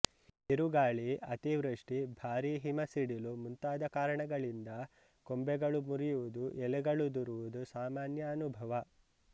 ಬಿರುಗಾಳಿ ಅತಿವೃಷ್ಟಿ ಭಾರಿ ಹಿಮ ಸಿಡಿಲು ಮುಂತಾದ ಕಾರಣಗಳಿಂದ ಕೊಂಬೆಗಳು ಮುರಿಯುವುದು ಎಲೆಗಳುದುರುವುದು ಸಾಮಾನ್ಯ ಅನುಭವ